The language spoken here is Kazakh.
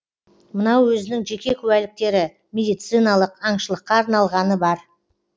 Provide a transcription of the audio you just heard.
мынау өзінің жеке куәліктері медициналық аңшылыққа арналғаны бар